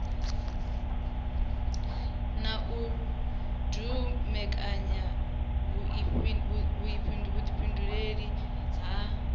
na u dumbekanya vhuifhinduleli ha